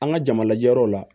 An ka jama lajɛyɔrɔ la